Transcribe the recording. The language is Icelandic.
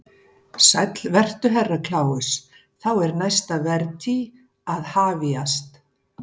Sæll vertu Herra Kláus, þá er næsta vertí að hafjast.